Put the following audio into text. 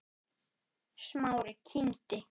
Smári kímdi.